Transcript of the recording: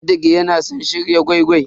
Sadiq ya na san shirin gwai-gwai.